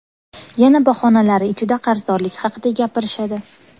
Yana bahonalari ichida qarzdorlik haqida gapirishadi.